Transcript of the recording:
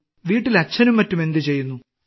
വീട്ടിൽ അച്ഛനും മറ്റും എന്തുചെയ്യുന്നു